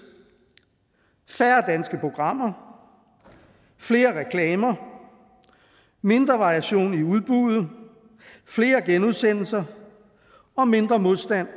færre danske programmer flere reklamer mindre variation i udbuddet flere genudsendelser og mindre modstand